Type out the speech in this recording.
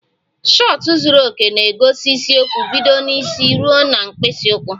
Shọtụ zuru oke na-egosi isiokwu bido n'isi ruo na mkpịsị ụkwụ